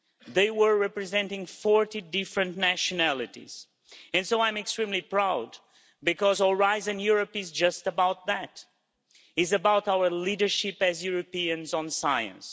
They were representing 40 different nationalities. And so I'm extremely proud, because Horizon Europe is just about that. It is about our leadership as Europeans in science.